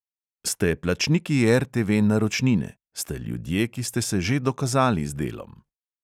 Ste plačniki RTV-naročnine, ste ljudje, ki ste se že dokazali z delom ...